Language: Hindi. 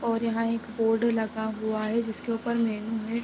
और यहाँ एक बोर्ड लगा हुआ है जिसके ऊपर में में--